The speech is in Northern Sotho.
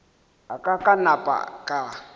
a ka ka napa ka